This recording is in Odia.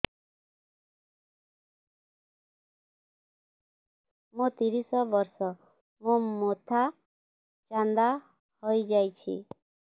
ମୋ ତିରିଶ ବର୍ଷ ମୋ ମୋଥା ଚାନ୍ଦା ହଇଯାଇଛି